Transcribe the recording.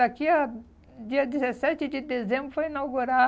Daqui a... dia dezessete de dezembro vai inaugurar